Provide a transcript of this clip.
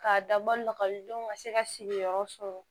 K'a dabɔ lɔgɔlidenw ka se ka sigiyɔrɔ sɔrɔ